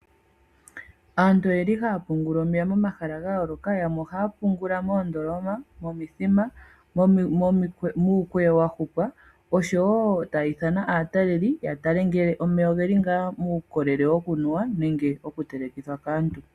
Aantu oye li haya pungula omeya momahala ga yooloka. Yamwe ohaa pungula moondoloma, momithima, muukweyo wa hupwa, osho wo taa ithana aataleli, ya tale ngele omeya oge li ngaa muukolele woku nuwa, nenge wokutelekithwa kaantu.